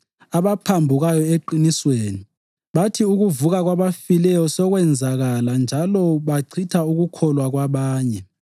abaphambukayo eqinisweni. Bathi ukuvuka kwabafileyo sekwenzakala njalo bachitha ukukholwa kwabanye.